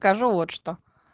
скажу вот что